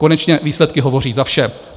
Konečně výsledky hovoří za vše.